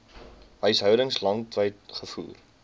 huishoudings landwyd gevoer